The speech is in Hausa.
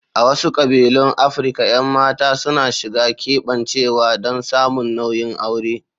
A wasu kabilun Afirka, 'yan mata suna shiga keɓancewa don samun nauyin aure.